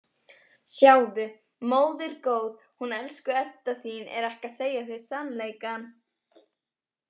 Sjáðu, móðir góð, hún elsku Edda þín er ekki að segja þér sannleikann.